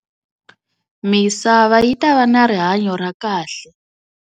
Misava yi ta va na rihanyo ra kahle.